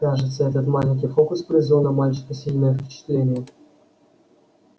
кажется этот маленький фокус произвёл на мальчика сильное впечатление